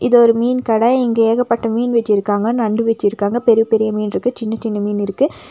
இது ஒரு மீன் கட இங்க ஏகப்பட்ட மீன் வெச்சிருக்காங்க நண்டு வெச்சிருக்காங்க பெரிய பெரிய மீன் இருக்கு சின்ன சின்ன மீன் இருக்கு.